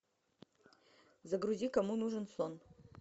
загрузи кому нужен сон